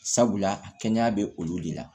Sabula a kɛnɛya bɛ olu de la